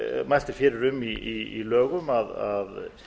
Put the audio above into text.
mælt er fyrir um í lögum að